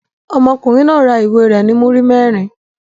Ọmọkùnrin náà ra ìwé rẹ̀ ní múrí mẹ́rin.